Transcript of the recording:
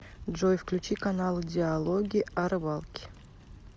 джой включи каналы диалоги о рыбалке